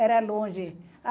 Era longe.